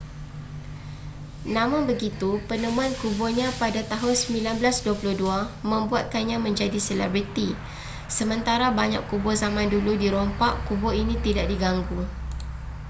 namun begitu penemuan kuburnya pada tahun 1922 membuatkannya menjadi selebriti sementara banyak kubur zaman dulu dirompak kubur ini tidak diganggu